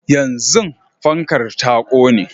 yanzun fankar ta kone